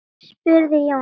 spurði Jón aftur.